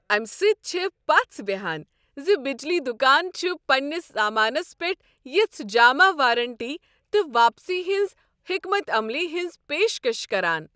امہ سۭتۍ چھےٚ پژھ بہیان زِ بجلی دکان چھ پنٛنس سامانس پٮ۪ٹھ یژھہ جامع وارنٹی تہٕ واپسی ہنٛز حكمت عملی ہنٛز پیش کش کران۔